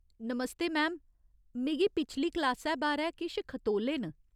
नमस्ते ma'am, मिगी पिछली क्लासै बारै किश खतोले न।